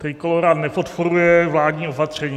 Trikolóra nepodporuje vládní opatření.